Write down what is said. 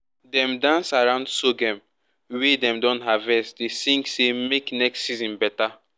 dem dance around sorghum wey dem don harvest dey sing say make next season better.